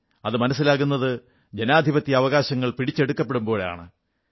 അതു മനസ്സിലാകുന്നത് ജനാധിപത്യ അവകാശങ്ങൾ പിടിച്ചെടുക്കപ്പെടുമ്പോഴാണ്